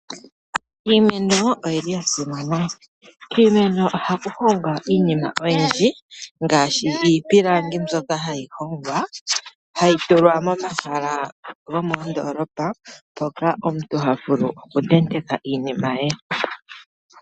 Iimeno oyili ya simana. Miimeno ohamu hongwa iinima oyindji ngaashi iipilangi mbyoka hayi hongwa, hayi tulwa moma hala gomoo ndoolopa moka ontu ha vulu oku tenteka iinima ye.